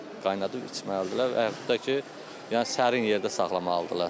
Qaynadıb içməlidirlər və yaxud da ki, yəni sərin yerdə saxlamalıdırlar.